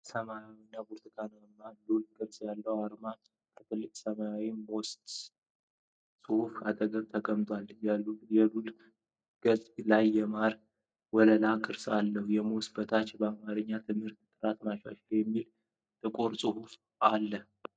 ሰማያዊና ብርቱካናማ ሉል ቅርጽ ያለው አርማ ከትልቅ ሰማያዊ "MOST" ጽሑፍ አጠገብ ተቀምጧል። የሉሉ ገጽ ላይ የማር ወለላ ቅርጽ አለው። ከ"MOST" በታች በአማርኛ "የትምህርት ጥራት ማሻሻያ" የሚል ጥቁር ጽሑፍ አለ።